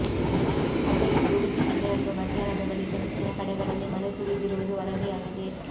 ಅದೇ ರೀತಿ ಉಡುಪಿ ಜಿಲ್ಲೆಯಲ್ಲೂ ಮಧ್ಯಾಹ್ನದ ಬಳಿಕ ಹೆಚ್ಚಿನ ಕಡೆಗಳಲ್ಲಿ ಮಳೆ ಸುರಿದಿರುವುದು ವರದಿಯಾಗಿದೆ